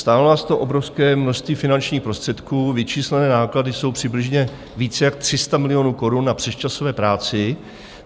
Stálo nás to obrovské množství finančních prostředků, vyčíslené náklady jsou přibližně víc jak 300 milionů korun na přesčasové práci.